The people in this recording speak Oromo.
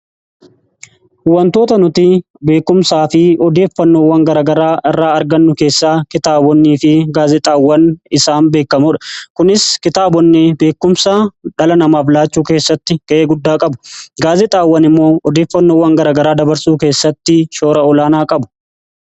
Wantoota nuti beekumsaa fi odeeffannoowwan garagaraa irraa argannu keessaa kitaabonnii fi gaazexaawwan isaan beekamoodha. Kunis kitaabonni beekumsaa dhala namaaf laachuu keessatti ga'ee guddaa qabu. Gaazexaawwan immoo odeeffannoowwan garagaraa dabarsuu keessatti shoora olaanaa qabu.